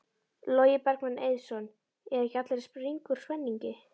Logi Bergmann Eiðsson: Eru ekki allir að springa úr spenningi?